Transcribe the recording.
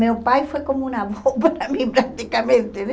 Meu pai foi como um avô para mim, praticamente.